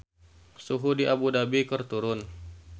Suhu di Abu Dhabi keur turun